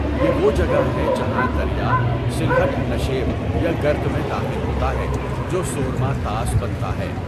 یہ وہ جگہ ہے جہاں دریا، سلہٹ نشیب یا گرت میں داخل ہوتا ہے جو سورما طاس بنتا ہے.